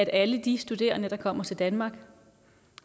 alle de studerende der kommer til danmark